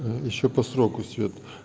ещё по сроку свет